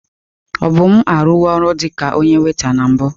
Obum arụwo ọrụ dị ka onye weta na mbụ.